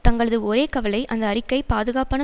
தங்களது ஒரே கவலை அந்த அறிக்கை பாதுகாப்பான